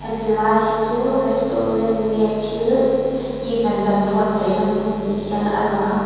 heti lai hi chu restuarant nge thil event an buatsaih na hmuh ni hian a lang a--